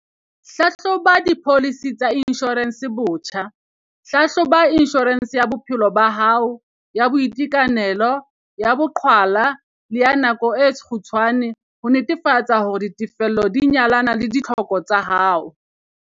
Lekola dipholisi tsa inshorense botjha - Hlahloba inshorense ya bophelo ba hao, ya boitekanelo, ya boqhwala le ya nako e kgutshwane ho netefatsa hore ditefello di nyalana le ditlhoko tsa hao.